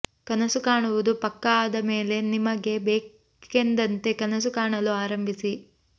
ಕನಸು ಕಾಣುವುದು ಪಕ್ಕಾ ಆದ ಮೇಲೆ ನಿಮಗೆ ಬೇಕೆಂದಂತೆ ಕನಸು ಕಾಣಲು ಆರಂಭಿಸಿ